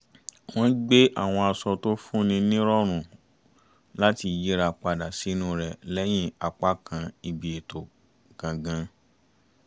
wọ́n gbé àwọn aṣọ tó fún ni ní ìrọ̀rùn láti yìra padà sìnú rẹ̀ lẹ́yìn apákan ibi ètò gangan